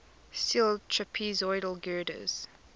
steel trapezoidal girders